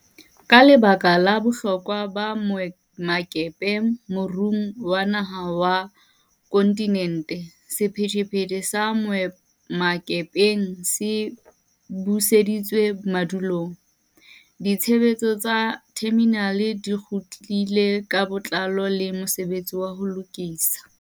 Ka lebaka la bohlokwa ba boemakepe moruong wa naha le wa kontinente, sephethephethe sa boemakepeng se buseditswe madulong, ditshebetso tsa theminale di kgutlile ka botlalo le mosebetsi wa ho lokisa